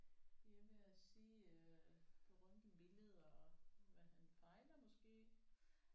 De er ved at se øh på røntgenbilleder hvad han fejler måske